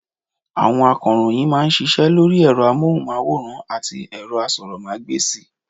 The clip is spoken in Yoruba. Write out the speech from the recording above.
Àwọn akọ̀ròyìn mà a ń ṣiṣẹ́ lórí ẹ̀rọ amóhùnmáwòrán àti asọ́rọ́mágbèsì